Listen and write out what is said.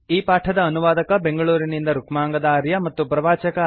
ಈ ಪಾಠದ ಅನುವಾದಕ ಬೆಂಗಳೂರಿನಿಂದ ರುಕ್ಮಾಂಗದ ಆರ್ಯ ಮತ್ತು ಪ್ರವಾಚಕ ಐ